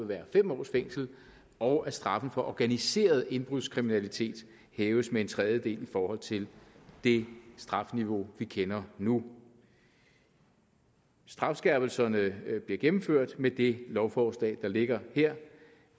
være fem års fængsel og at straffen for organiseret indbrudskriminalitet hæves med en tredjedel i forhold til det strafniveau vi kender nu strafskærpelserne bliver gennemført med det lovforslag der ligger her